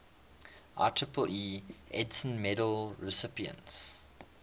ieee edison medal recipients